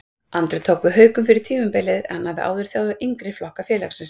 Andri tók við Haukum fyrir tímabilið en hann hafði áður þjálfaði yngri flokka félagsins.